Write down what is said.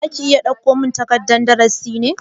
Za ka iya dauko min takardan darasi ne?